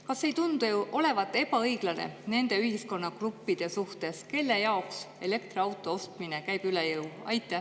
Kas see ei tundu olevat ebaõiglane nende ühiskonnagruppide suhtes, kellele elektriauto ostmine käib üle jõu?